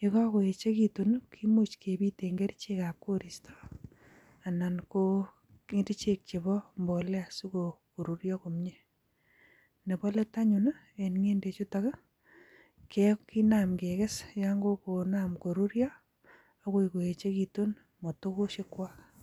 Ye kokoyechekitun i kimuch kebiiten kerichekab koristoo anan ko kerichek chebo mbolea sikoruryoo komie .Nebo let anyun en ngendechutok kinaam keges yon kokonaam koruryoo akoi kouechekitun motokosyek chwakm